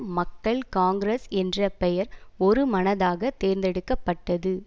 மக்கள் காங்கிரஸ் என்ற பெயர் ஒருமனதாக தேர்ந்தெடுக்க பட்டது